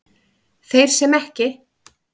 Þeir sem ekki